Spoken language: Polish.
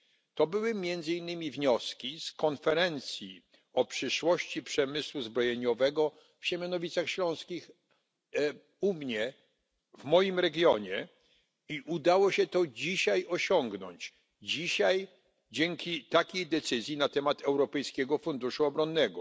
Takie były między innymi wnioski z konferencji o przyszłości przemysłu zbrojeniowego w Siemianowicach Śląskich, u mnie, w moim regionie, i udało się to dzisiaj osiągnąć dzisiaj, dzięki takiej decyzji dotyczącej Europejskiego Funduszu Obronnego.